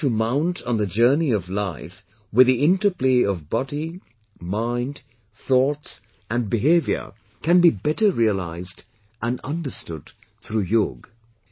How to mount on the journey of life with the interplay of body, mind, thoughts and behavior can be better realized and understood through Yoga